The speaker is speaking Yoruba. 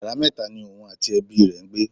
Yàrá mẹta ni òun àti ẹbi rẹ ń gbé.